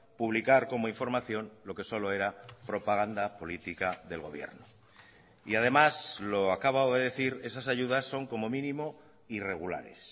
publicar como información lo que solo era propaganda política del gobierno y además lo acabo de decir esas ayudas son como mínimo irregulares